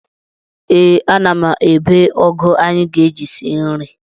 Ee, ana m ebe ụgụ anyị ga-eji sie nri.